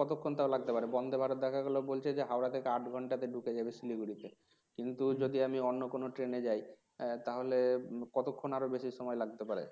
কতক্ষণ তও লাগতে পারে Vande, Bharat দেখা গেল বলছে যে হাওড়া থেকে আট ঘন্টাতে ঢুকে যাবে Siliguri তে কিন্তু হম যদি আমি অন্য কোন Train এ যাই তাহলে কতক্ষন আরো বেশি সময় লাগতে পারে